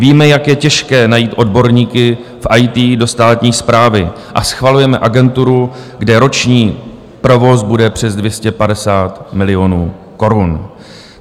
Víme, jak je těžké najít odborníky v IT do státní správy, a schvalujeme agenturu, kde roční provoz bude přes 250 milionů korun.